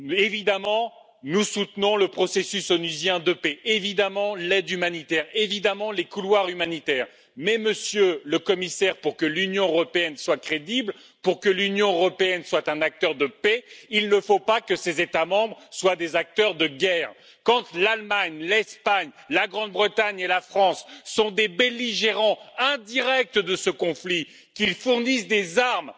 Évidemment, nous soutenons le processus onusien de paix, l'aide humanitaire et les couloirs humanitaires mais, Monsieur le Commissaire, pour que l'Union européenne soit crédible, pour que l'Union européenne soit un acteur de paix, il ne faut pas que ses États membres soient des acteurs de guerre! Quand l'Allemagne, l'Espagne, la Grande Bretagne et la France sont des belligérants indirects de ce conflit, qu'elles fournissent des armes